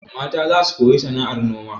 Mata za su koyi sana'ar noma.